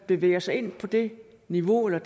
bevæger sig ind på det niveau eller